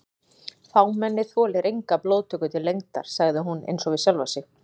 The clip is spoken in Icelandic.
Fámennið þolir enga blóðtöku til lengdar sagði hún einsog við sjálfa sig.